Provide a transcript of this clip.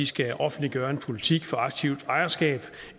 skal offentliggøre en politik for aktivt ejerskab